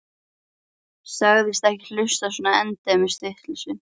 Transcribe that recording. Sagðist ekki hlusta á svona endemis vitleysu.